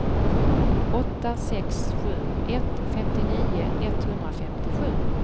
åtta sex sju ett femtionio etthundrafemtiosju